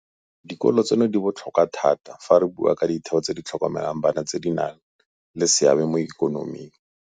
Dikolo tseno di botlhokwa thata fa re bua ka ditheo tse di tlhokomelang bana tse di nang le seabe mo ikonoming.